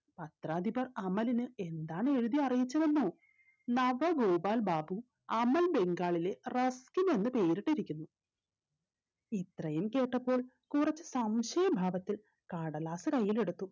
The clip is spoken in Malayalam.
പത്രാധിപർ അമലിന് എന്താണ് എഴുതി അറിയിച്ചതെന്നോ നവഗോപാൽ ബാബു അമൽ ബംഗാളിലെ റസ്കിനെന്ന് പേര് ഇട്ടിരിക്കുന്നു ഇത്രയും കേട്ടപ്പോൾ കുറച്ച് സംശയ ഭാവത്തിൽ കടലാസ് കയ്യിലെടുത്തു